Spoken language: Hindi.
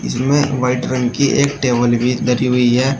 इसमें वाइट रंग की एक टेबल भी धरी हुई है।